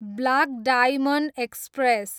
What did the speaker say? block Diamond express